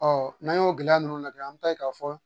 n'an y'o gɛlɛya ninnu najɛ an mi ta ye k'a fɔ